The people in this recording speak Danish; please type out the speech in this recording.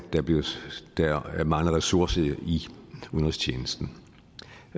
der mangler ressourcer i udenrigstjenesten